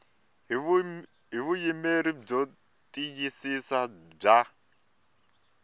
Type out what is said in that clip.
hi vuyimeri byo tiyisisa bya